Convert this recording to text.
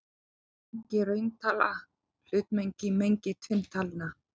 Er mengi rauntalna hlutmengi í mengi tvinntalna?